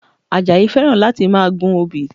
Àjàyí fẹ́ràn láti máa gun obì